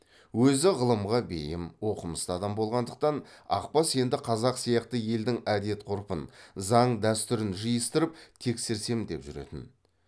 өзі ғылымға бейім оқымысты адам болғандықтан ақбас енді қазақ сияқты елдің әдет ғұрпын заң дәстүрін жиыстырып тексерсем деп жүретін